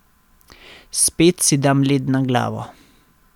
Spet si dam led na glavo.